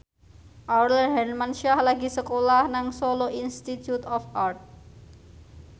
Aurel Hermansyah lagi sekolah nang Solo Institute of Art